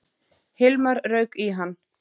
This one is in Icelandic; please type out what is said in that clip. Hilmar rauk í hann.